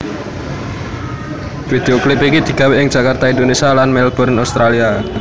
Video klip iki digawé ing Jakarta Indonesia lan Melbourne Australia